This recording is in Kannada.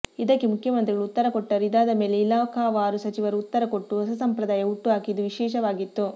ಇದಕ್ಕೆ ಮುಖ್ಯಮಂತ್ರಿಗಳು ಉತ್ತರ ಕೊಟ್ಟರೂ ಇದಾದ ಮೇಲೆ ಇಲಾಖಾವಾರು ಸಚಿವರು ಉತ್ತರ ಕೊಟ್ಟು ಹೊಸ ಸಂಪ್ರದಾಯ ಹುಟ್ಟು ಹಾಕಿದ್ದು ವಿಶೇಷವಾಗಿತ್ತು